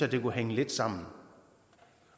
det kunne hænge lidt sammen